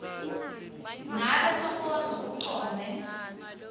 ngabe sonkondlo ucondze